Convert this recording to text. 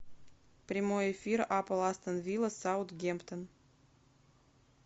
прямой эфир апл астон вилла саутгемптон